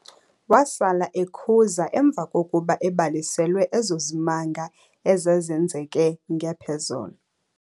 Wasala ekhuza emva kokuba ebaliselwe ezo zimanga ezazenzeke ngephozolo.